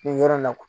Nin yɔrɔ la